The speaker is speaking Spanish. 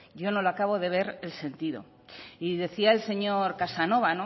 yo no le acabo de ver el sentido y decía el señor casanova